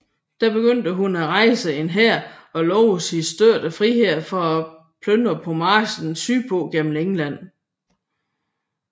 Der begyndte hun at rejse en hær og lovede sine støtter frihed til at plyndre på marchen sydpå gennem England